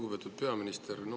Lugupeetud peaminister!